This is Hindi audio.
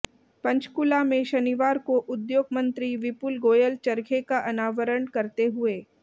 पंचकूला में शनिवार को उद्योग मंत्री विपुल गाेयल चरखे का अनावरण करते हुये